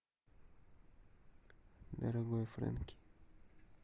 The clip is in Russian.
дорогой фрэнки